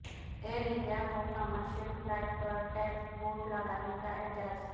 ایرانڈیا کو commercial flight پر taxibot لگانے کااعزاز